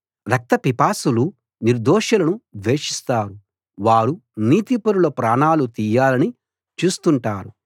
రక్తపిపాసులు నిర్దోషులను ద్వేషిస్తారు వారు నీతిపరుల ప్రాణాలు తీయాలని చూస్తుంటారు